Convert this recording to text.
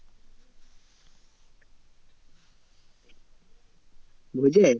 ভোজে?